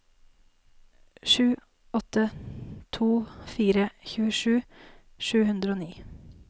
sju åtte to fire tjuesju sju hundre og ni